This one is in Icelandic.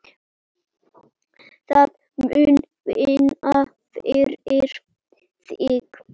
Það mun vinna fyrir þig.